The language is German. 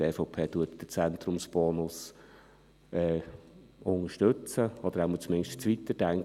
Die EVP unterstützt den Zentrumsbonus oder zumindest, dass man ihn weiterdenkt.